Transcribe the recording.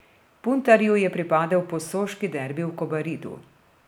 Puntarju je pripadel posoški derbi v Kobaridu.